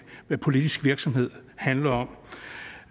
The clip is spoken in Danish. hvad politisk virksomhed handler om